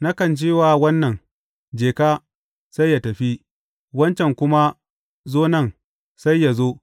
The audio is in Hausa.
Nakan ce wa wannan, Je ka,’ sai yă tafi; wancan kuma, Zo nan,’ sai yă zo.